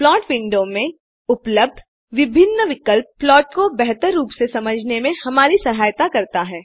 plot window में उपलब्ध विभिन्न विकल्प प्लाट को बेहतर रूप से समझने में हमारी सहायता करते हैं